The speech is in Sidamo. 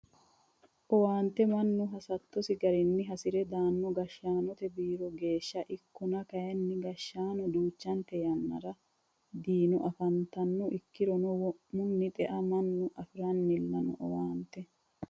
Owaante mannu hasattosi garinni hasire daano gashshaanote biiro geeshsha ikkonna kayinni gashshaano duuchante yannara diino afantano ikkirono wo'munni xea mannu afiranilla no owaante.